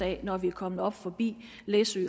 af når de er kommet op forbi læsø